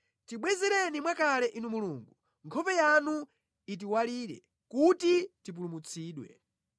Tibwezereni mwakale Inu Mulungu; nkhope yanu itiwalire kuti tipulumutsidwe.